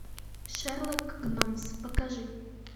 шерлок гномс покажи